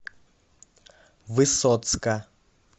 высоцка